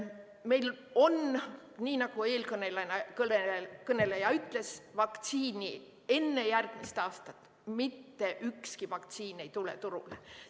Meil on nii, nagu eelkõneleja ütles, et vaktsiini enne järgmist aastat – mitte ühtki vaktsiini – turule ei tule.